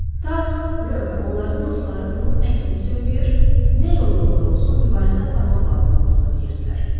Taru, Rö və onların dostları bunun əksini söyləyir, nə yolla olur-olsun mübarizə aparmaq lazım olduğunu deyirdilər.